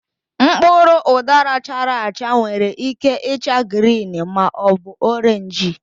Mkpụrụ udara chara achaa nwere ike ịcha grịn ma ọ bụ orenji.